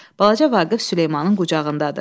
Balaca Vaqif Süleymanın qucağındadır.